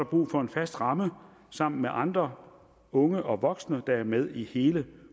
brug for en fast ramme sammen med andre unge og voksne der er med i hele